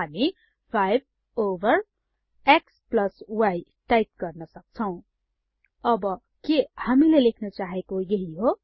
हामी 5 over x y type गर्न सक्छौ अब के हामीले लेख्न चाहेको यहि हो